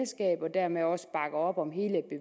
dermed også bakker op om